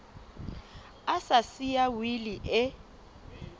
a sa siya wili e